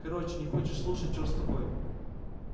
короче не хочешь слушать черт с тобой